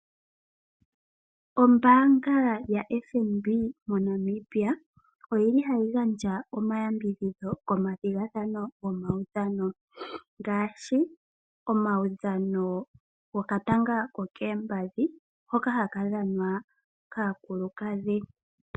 Ombanga yaFNB moNamibia oyili hayi gandja omayambidhidhi komathigathano ngaashi omawudhano goka tanga kokoompadhi hoka haka dhanwa kaakulukadhi.